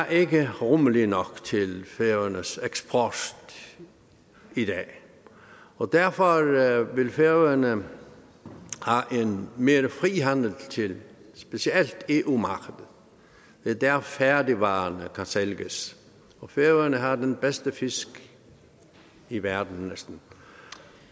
er ikke rummelig nok til færøernes eksport i dag og derfor vil færøerne have mere frihandel til specielt eu markedet det er der færdigvarerne kan sælges og færøerne har den bedste fisk i verden næsten